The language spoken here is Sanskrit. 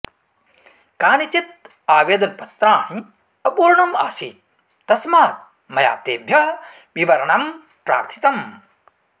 कानिचित् आवेदनपत्राणि अपूर्णम् आसीत् तस्मात् मया तेभ्यः विवरणं प्रार्थितम्